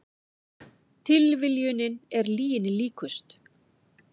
Tilviljunin er lyginni líkust